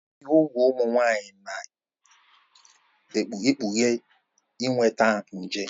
Ibi úgwù ụmụ nwanyị na-ekpughe inweta nje.